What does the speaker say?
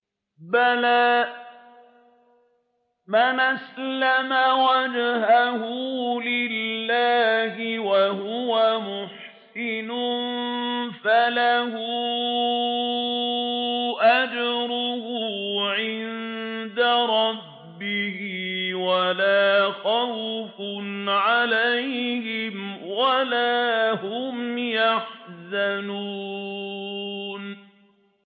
بَلَىٰ مَنْ أَسْلَمَ وَجْهَهُ لِلَّهِ وَهُوَ مُحْسِنٌ فَلَهُ أَجْرُهُ عِندَ رَبِّهِ وَلَا خَوْفٌ عَلَيْهِمْ وَلَا هُمْ يَحْزَنُونَ